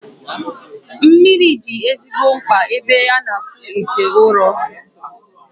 Mmiri dị ezigbo mkpa n'ebe a na-akpụ ite ụrọ